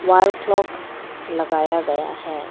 Wall clock लगाया गया है।